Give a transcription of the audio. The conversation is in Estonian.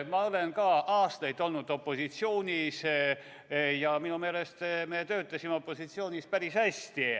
Ma olen ka aastaid olnud opositsioonis ja minu meelest me töötasime opositsioonis päris hästi.